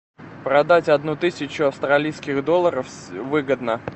продать одну тысячу австралийских долларов выгодно